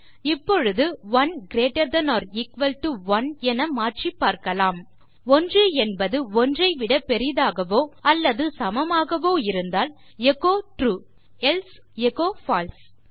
இப்பொழுது 1 greater than or equal to 1 என மாற்றிப் பார்க்கலாம் 1என்பது 1ஐ விட பெரியதாகவோ அல்லது சமமாகவோ இருந்தால் எச்சோ ட்ரூ எல்சே எச்சோ பால்சே